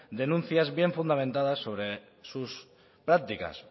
denuncias bien fundamentadas sobre sus prácticas